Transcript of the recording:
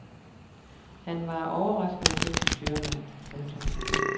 Han var en overraskende dygtig styrmand. punktum